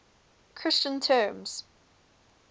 christian terms